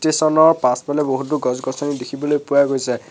পাছফালে বহুতো গছ-গছনি দেখিবলৈ পোৱা গৈছে।